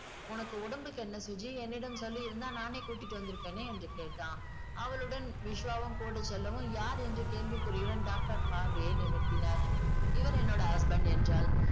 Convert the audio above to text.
உனக்கு உடம்புக்கு என்ன சுஜி என்னிடம் சொல்லியிருந்தால் நானே கூட்டிட்டு வந்திருப்பேனே என்று கேட்டான் அவளுடன் விஷ்வாவும் கூடச் செல்லவும் யார் என்று கேள்விக்குறியுடன் doctor பார்வையை நிமிர்த்தினார் இவர் என்னோட husband என்றாள்